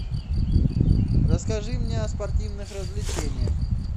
расскажи мне о спортивных развлечениях